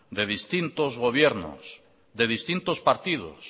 de distintos gobiernos de distintos partidos